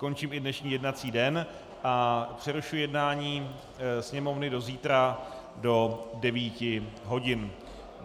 Končím i dnešní jednací den a přerušuji jednání Sněmovny do zítra do 9 hodin.